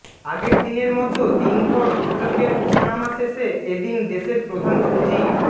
আগের দিনের মতো দিনভর সূচকের ওঠানামা শেষে এদিন দেশের প্রধান পুঁজি